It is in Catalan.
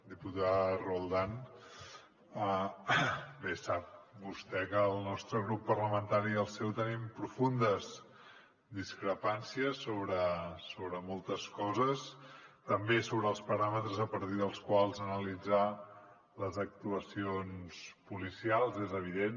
diputada roldán bé sap vostè que el nostre grup parlamentari i el seu tenim profundes discrepàncies sobre moltes coses també sobre els paràmetres a partir dels quals analitzar les actuacions policials és evident